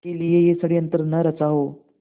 के लिए यह षड़यंत्र न रचा हो